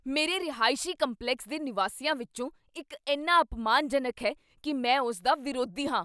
ਮੇਰੇ ਰਿਹਾਇਸ਼ ਕੰਪਲੈਕਸ ਦੇ ਨਿਵਾਸੀਆਂ ਵਿੱਚੋਂ ਇੱਕ ਇੰਨਾ ਅਪਮਾਨਜਨਕ ਹੈ ਕੀ ਮੈਂ ਉਸ ਦਾ ਵਿਰੋਧੀ ਹਾਂ।